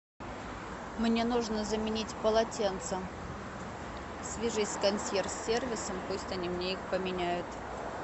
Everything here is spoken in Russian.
мне нужно заменить полотенце свяжись с консьерж сервисом пусть они мне их поменяют